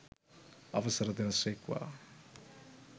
අවසර දෙන සේක්වා!